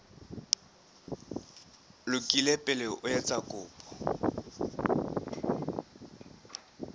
lokile pele o etsa kopo